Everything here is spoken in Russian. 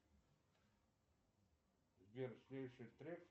сбер следующий трек